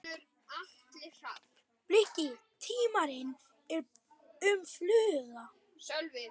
Bliki: tímarit um fugla.